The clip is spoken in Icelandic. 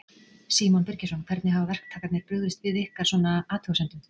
Símon Birgisson: Hvernig hafa verktakarnir brugðist við ykkar, svona, athugasemdum?